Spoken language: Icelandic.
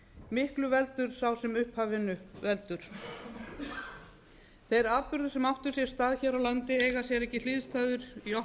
miklu veldur sá sem upphafinu veldur þeir atburðir sem áttu sér stað hér á landi eiga sér ekki hliðstæður í